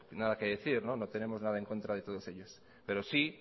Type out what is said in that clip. nada que decir no tenemos nada en contra de todos ellos pero